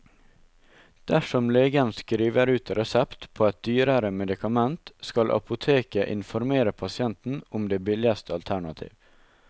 Dersom legen skriver ut resept på et dyrere medikament, skal apoteket informere pasienten om det billigste alternativ.